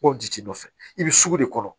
Ko ji tɛ nɔfɛ i bɛ sugu de kɔnɔ